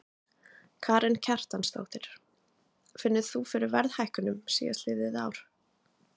Karen Kjartansdóttir: Finnur þú fyrir verðhækkunum síðastliðið ár?